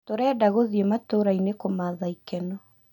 Tũrenda gũthiĩ matũrainĩ kũmatha ikeno